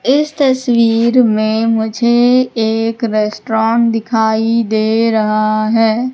इस तस्वीर में मुझे एक रेस्टोरेंट दिखाई दे रहा है।